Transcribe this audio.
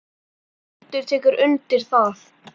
Hildur tekur undir það.